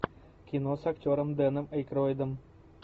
кино с актером дэном эйкройдом